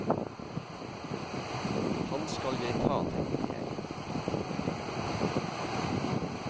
Han skal jeg ta, tenkte jeg.